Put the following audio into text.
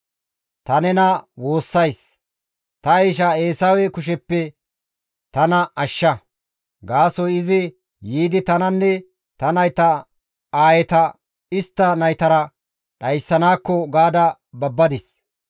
Ta nena woossays; ta ishaa Eesawe kusheppe tana ashsha; gaasoykka izi yiidi tananne ta nayta aayeta istta naytara dhayssanaakko gaada babbadis.